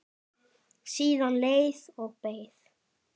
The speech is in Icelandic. Síðan leið og beið.